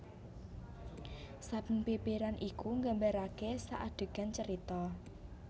Saben bèbèran iku nggambarakè sakadegan carita